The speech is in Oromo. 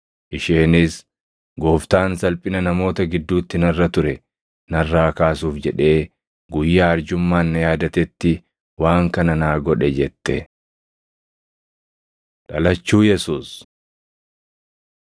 Isheenis, “Gooftaan salphina namoota gidduutti narra ture narraa kaasuuf jedhee guyyaa arjummaan na yaadatetti waan kana naa godhe” jette. Dhalachuu Yesuus